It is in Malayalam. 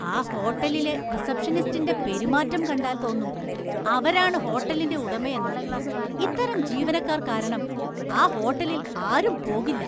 ആ ഹോട്ടലിലെ റിസപ്ഷനിസ്റ്റിന്റെ പെരുമാറ്റം കണ്ടാല്‍ തോന്നും അവരാണ് ഹോട്ടലിന്റെ ഉടമയെന്ന്, ഇത്തരം ജീവനക്കാര്‍ കാരണം ആ ഹോട്ടലില്‍ ആരും പോകില്ല.